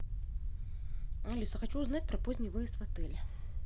алиса хочу узнать про поздний выезд в отеле